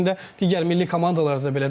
Əslində digər milli komandalarda da belədir,